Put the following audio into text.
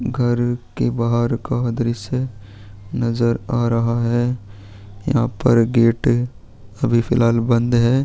घर के बाहर का दृश्य नज़र आ रहा है यहाँ पर गेट अभी फ़िलहाल बंद है।